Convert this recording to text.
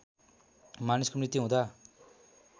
मानिसको मृत्यु हुँदा